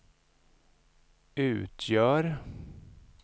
utgör